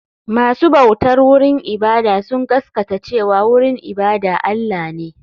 Masu bautar wurin ibada sun gaskata cewa wurin ibada Allah ne.